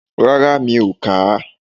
Rárá, mi ò kàá